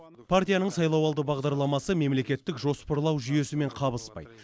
партияның сайлауалды бағдарламасы мемлекеттік жоспарлау жүйесімен қабыспайды